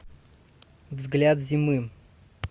взгляд зимы